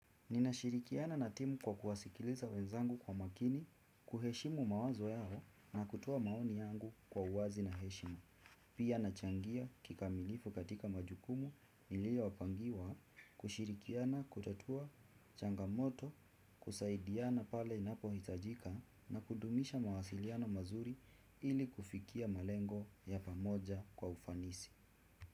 Ninashirikiana na timu kwa kuwasikiliza wenzangu kwa makini, kuheshimu mawazo yao na kutoa maoni yangu kwa uwazi na heshima. Pia nachangia kikamilifu katika majukumu nilio pangiwa, kushirikiana, kutatua, changamoto, kusaidiana pale inapohitajika na kudumisha mawasiliano mazuri ili kufikia malengo ya pamoja kwa ufanisi.